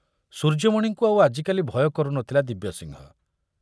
ସୂର୍ଯ୍ୟମଣିଙ୍କୁ ଆଉ ଆଜିକାଲି ଭୟ କରୁ ନଥିଲା ଦିବ୍ୟସିଂହ।